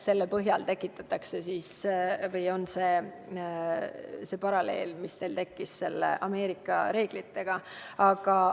See on see paralleel, mis teil seoses Ameerika reeglitega tekkis.